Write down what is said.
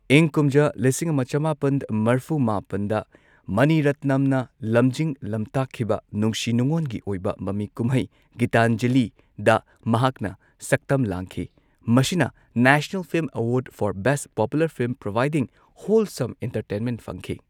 ꯏꯪ ꯀꯨꯝꯖꯥ ꯂꯤꯁꯤꯡ ꯑꯃ ꯆꯃꯥꯄꯟ ꯃꯔꯐꯨ ꯃꯥꯄꯟꯗ, ꯃꯅꯤ ꯔꯠꯅꯝꯅ ꯂꯝꯖꯤꯡ ꯂꯝꯇꯥꯛꯈꯤꯕ ꯅꯨꯡꯁꯤ ꯅꯨꯡꯉꯣꯟꯒꯤ ꯑꯣꯏꯕ ꯃꯃꯤ ꯀꯨꯝꯍꯩ ꯒꯤꯇꯥꯟꯖꯂꯤꯗ ꯃꯍꯥꯛꯅ ꯁꯛꯇꯝ ꯂꯥꯡꯈꯤ, ꯃꯁꯤꯅ ꯅꯦꯁꯅꯜ ꯐꯤꯜꯝ ꯑꯋꯥꯔꯗ for best popular film providing ꯍꯣꯜꯁꯝ꯫